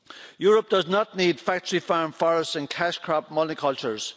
Europe does not need factory farm forests and cash crop multicultures.